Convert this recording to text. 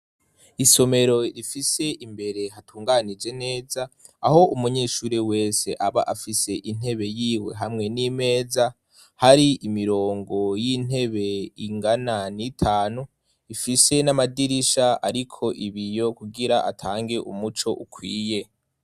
Isomero rifise imbere hatunganije neza. Aho umunyeshuri wese aba afise intebe yiwe hamwe n'imeza hari, imirongo y'intebe ingana n'itanu ifise n'amadirisha ariko ibiyo kugira atange umuco ukwiye